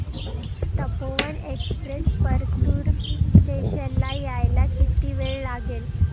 Tapovan express Partur station ला यायला किती वेळ लागेल